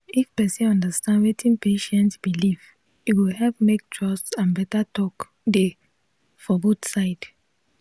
if person understand wetin patient believe e go help make trust and better talk dey for both side.